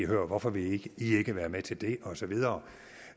hør hvorfor vil i ikke være med til det og så videre